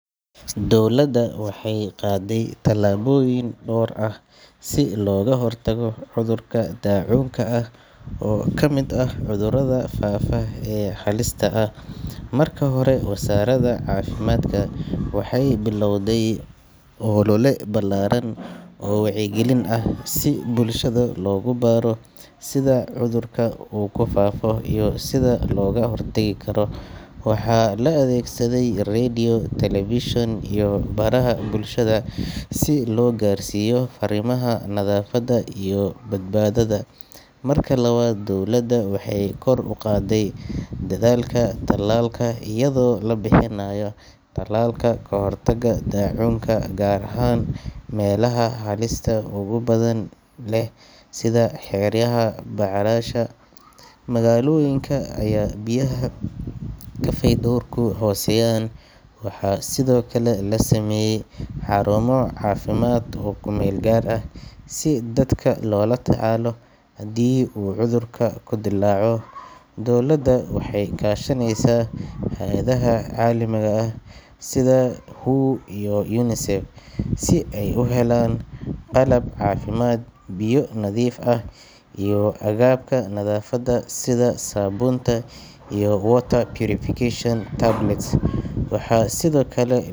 Dowladda waxay qaaday tallaabooyin dhowr ah si looga hortago cudurka dacuunka ah oo ka mid ah cudurrada faafa ee halista ah. Marka hore, wasaaradda caafimaadka waxay bilaawday olole ballaaran oo wacyigelin ah si bulshada loogu baro sida cudurka uu ku faafo iyo sida looga hortagi karo. Waxaa la adeegsaday radio, television, iyo baraha bulshada si loo gaarsiiyo farriimaha nadaafadda iyo badbaadada. Marka labaad, dowladda waxay kor u qaaday dadaalka tallaalka iyadoo la bixinayo tallaalka ka hortagga dacuunka gaar ahaan meelaha halista ugu badan leh sida xeryaha barakacayaasha, magaalooyinka ay biyaha iyo fayadhowrku hooseeyaan. Waxaa sidoo kale.